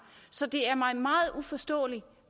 så det er mig meget uforståeligt